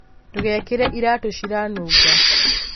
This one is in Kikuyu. Ndũgekere iratũ ciranunga